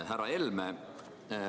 Härra Helme!